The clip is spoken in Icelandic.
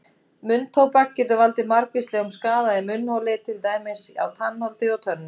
Munntóbak getur valdið margvíslegum skaða í munnholi til dæmis á tannholdi og tönnum.